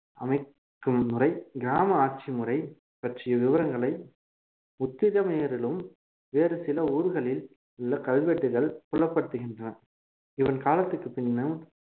அமைக்கும் முறை கிராம ஆட்சி முறை பற்றிய விவரங்களை உத்திரமேரூரிலும் வேறு சில ஊர்களில் உள்ள கல்வெட்டுகள் புலப்படுத்துகின்றன இவன் காலத்துக்கு பின்னால்